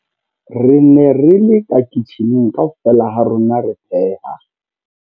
Re ne re le ka kitjhining kaofela ha rona re pheha.